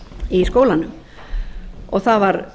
í skólanum það var